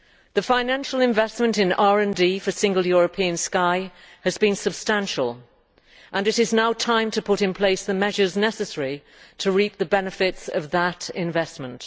The financial investment in RD for the Single European Sky has been substantial, and it is now time to put in place the measures necessary to reap the benefits of that investment.